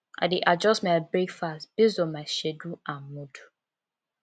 i dey adjust my breakfast based on my schedule and mood